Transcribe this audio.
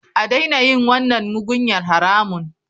A daina yin wannan mugunyar haramun.